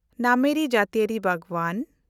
ᱱᱟᱢᱮᱨᱤ ᱡᱟᱹᱛᱤᱭᱟᱹᱨᱤ ᱵᱟᱜᱽᱣᱟᱱ